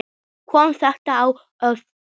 Kom þetta á óvart?